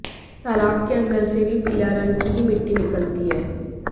तालाब के अन्दर से भी पीला रंग की ही मिट्टी निकलती है